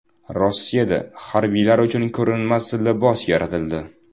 Rossiyada harbiylar uchun ko‘rinmas libos yaratildi.